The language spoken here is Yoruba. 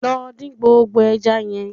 Lọ dín gbogbo ẹja yẹn